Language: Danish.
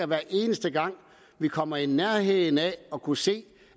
hver eneste gang vi kommer i nærheden af at kunne se